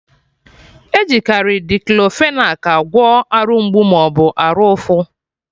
Ejikari Diclofenac agwọ Arụ mgbu maọbụ arụ ụfụ